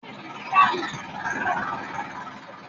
Ìkòkò pé orísìí